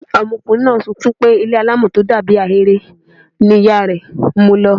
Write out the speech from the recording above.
Ọmọkùnrin náà sunkún pé ilé alámọ̀ tó dàbí ahéré ni ìyá rẹ̀ mu lọ.